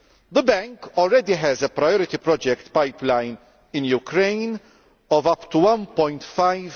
The Bank already has a priority project pipeline in Ukraine of up to EUR1.5